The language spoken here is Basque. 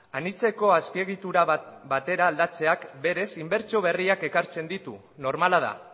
anitzeko azpiegitura bat batera aldatzeak berez inbertsio berriak ekartzen ditu normala da